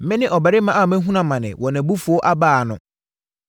Mene ɔbarima a mahunu amane wɔ nʼabufuo abaa ano.